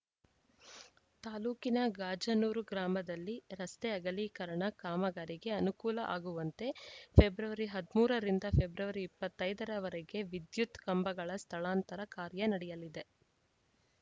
ತಾಲೂಕಿನ ಗಾಜನೂರು ಗ್ರಾಮದಲ್ಲಿ ರಸ್ತೆ ಅಗಲಿಕರಣ ಕಾಮಗಾರಿಗೆ ಅನುಕೂಲ ಆಗುವಂತೆ ಫೆಬ್ರವರಿ ಹದಿಮೂರ ರಿಂದ ಫೆಬ್ರವರಿ ಇಪ್ಪತ್ತ್ ಐದ ರವರೆಗೆ ವಿದ್ಯುತ್‌ ಕಂಬಗಳ ಸ್ಥಳಾಂತರ ಕಾರ್ಯ ನಡೆಯಲಿದೆ